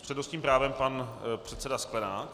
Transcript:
S přednostním právem pan předseda Sklenák.